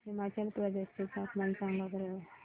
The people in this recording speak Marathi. हिमाचल प्रदेश चे तापमान सांगा बरं